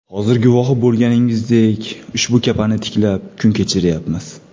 Hozir guvohi bo‘lganingizdek, ushbu kapani tiklab, kun kechiryapmiz.